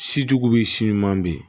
Si jugu bɛ si ɲuman bɛ ye